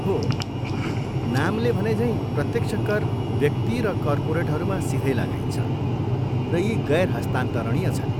हो, नामले भनेझैँ प्रत्यक्ष कर व्यक्ति र कर्पोरेटहरूमा सिधै लगाइन्छ र यी गैर हस्तान्तरणीय छन्।